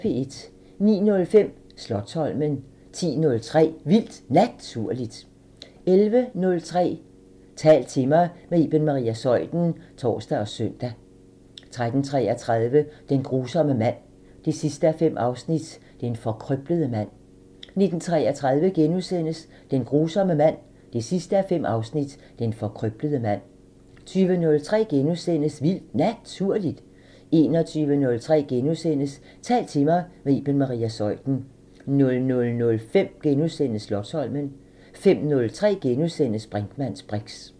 09:05: Slotsholmen 10:03: Vildt Naturligt 11:03: Tal til mig – med Iben Maria Zeuthen (tor og søn) 13:33: Den grusomme mand 5:5 – Den forkrøblede mand 19:33: Den grusomme mand 5:5 – Den forkrøblede mand * 20:03: Vildt Naturligt * 21:03: Tal til mig – med Iben Maria Zeuthen * 00:05: Slotsholmen * 05:03: Brinkmanns briks *